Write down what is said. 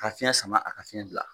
Ka fiyɛn sama a ka fiyɛn bila.